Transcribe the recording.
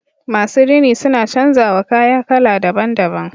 Masu rini suna canza wa kaya kala daban- daban.